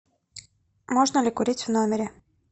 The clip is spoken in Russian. можно ли курить в номере